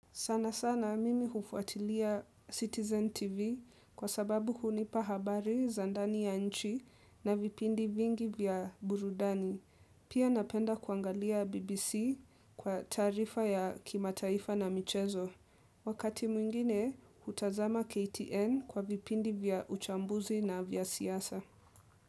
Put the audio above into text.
Sana sana mimi hufuatilia Citizen TV kwa sababu hunipa habari za ndani ya nchi na vipindi vingi vya burudani. Pia napenda kuangalia BBC kwa taarifa ya kimataifa na michezo. Wakati mwingine, hutazama KTN kwa vipindi vya uchambuzi na vya siasa.